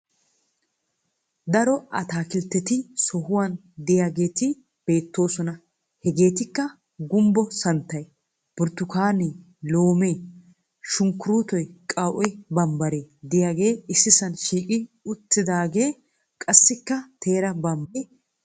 Daro ataakkiltteti soruwan diyageeti beettoosona. Hegeetikka gumbbo santtay, burttukaane loome, sunkkuruutoy, qaw"e bambbare diyagee issisan shiiqi uttidaage qassikka teera bambbare des.